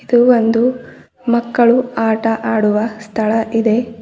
ಇದು ಒಂದು ಮಕ್ಕಳು ಆಟ ಆಡುವ ಸ್ಥಳ ಇದೆ.